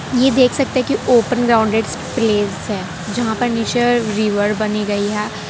ये देख सकते कि ओपन ग्राउंड है है जहां नेचर रिवर बनी गई है।